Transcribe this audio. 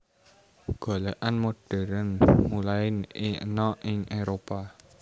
Golèkan modern mulain ana ing Éropah